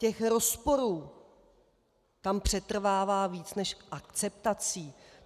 Těch rozporů tam přetrvává víc než akceptací.